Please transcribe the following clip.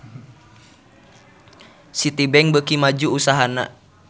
Citibank beuki maju usahana